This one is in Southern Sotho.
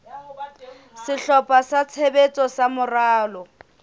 sehlopha sa tshebetso sa moralo